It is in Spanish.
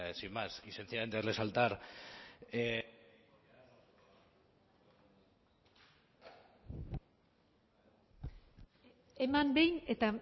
sin más y sencillamente verle saltar eman behin eta